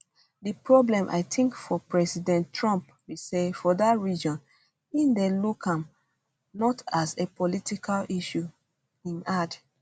di problem i tink for president trump be say for dat region im dey look am not as a political issue im add